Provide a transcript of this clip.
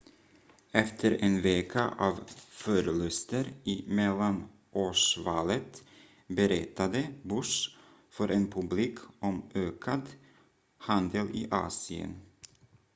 efter en vecka av förluster i mellanårsvalet berättade bush för en publik om ökad handel i asien